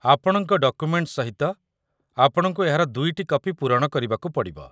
ଆପଣଙ୍କ ଡକୁମେଣ୍ଟ ସହିତ ଆପଣଙ୍କୁ ଏହାର ଦୁଇଟି କପି ପୂରଣ କରିବାକୁ ପଡ଼ିବ